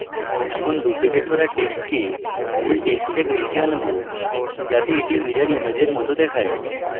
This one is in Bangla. এখন আমরা ডুপ্লিকেট করা টেক্সটকে মূল টেক্সটের নীচের আনবো যাতে এটি mirror ইমেজের মত দেখায়